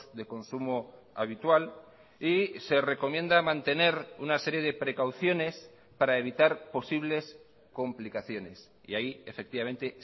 de consumo habitual y se recomienda mantener una serie de precauciones para evitar posibles complicaciones y ahí efectivamente